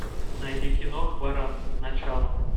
найди кино хваран начало